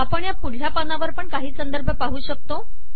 आपण ह्या पुढल्या पानावरपण काही संदर्भ पाहू शकतो